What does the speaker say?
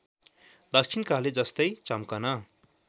दक्षिणकाली जस्तै चम्कन